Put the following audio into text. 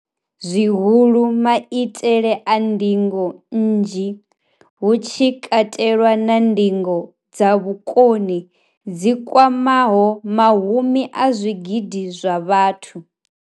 zwihulu, maitele a ndingo nnzhi, hu tshi katelwa na ndingo dza vhukoni dzi kwamaho mahumi a zwigidi zwa vhathu.